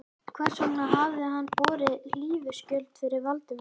Hvers vegna hafði hann borið hlífiskjöld fyrir Valdimar?